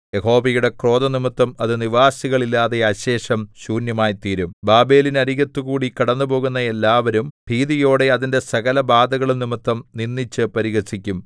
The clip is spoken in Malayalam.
യഹോവയുടെ ക്രോധം നിമിത്തം അത് നിവാസികൾ ഇല്ലാതെ അശേഷം ശൂന്യമായിത്തീരും ബാബേലിനരികത്തു കൂടി കടന്നുപോകുന്ന ഏല്ലാവരും ഭീതിയോടെ അതിന്റെ സകലബാധകളും നിമിത്തം നിന്ദിച്ചു പരിഹസിക്കും